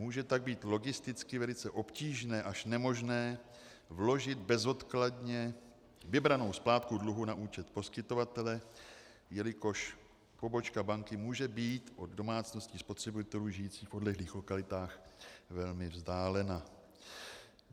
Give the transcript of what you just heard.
Může tak být logisticky velice obtížné až nemožné vložit bezodkladně vybranou splátku dluhu na účet poskytovatele, jelikož pobočka banky může být od domácnosti spotřebitelů žijících v odlehlých lokalitách velmi vzdálena.